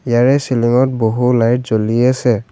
ইয়াৰে চিলিংত বহু লাইট জ্বলি আছে।